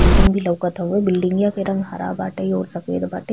Building भी लउकत हउवे। बिल्डिंगिया के रंग हरा बाटे और सफ़ेद बाटे।